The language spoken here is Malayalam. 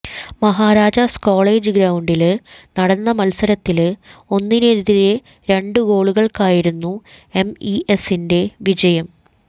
മഹാരാജാസ് കോളേജ് ഗ്രൌണ്ടില് നടന്ന മത്സരത്തില് ഒന്നിനെതിരെ രണ്ടുഗോളുകള്ക്കായിരുന്നു എംഇസിന്റെ വിജയം